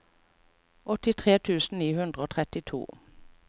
åttitre tusen ni hundre og trettito